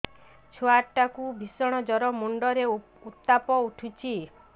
ଛୁଆ ଟା କୁ ଭିଷଣ ଜର ମୁଣ୍ଡ ରେ ଉତ୍ତାପ ଉଠୁଛି